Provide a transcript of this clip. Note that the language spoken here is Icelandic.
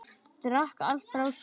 Drakk allt frá sér.